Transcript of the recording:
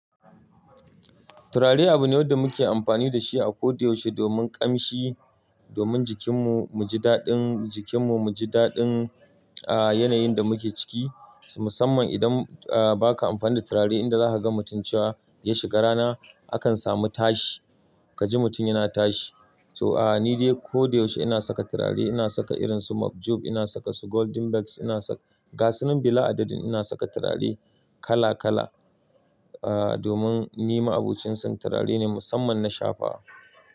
Turare abu ne da muke amfani da shi a ko da yaushe domin kamshi, domin jikinmu mu ji daɗin jikinmu, mu ji daɗin, ah, yanayin da muke ciki. Musamman idan, ah, ba ka amfani da turare idan za ka ga mutuncewa ya shiga rana, akan samu tashi. Kaji mutum yana tashi. So, ah, ni dai ko da yaushe ina saka turare. Ina saka irin su mop job, ina saka su golden beks, ina saka gasu nan bila adadin. Ina saka turare kala kala, ah, domin nima abucin sa turare ne musamman na shafawa.